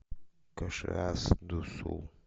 кашиас ду сул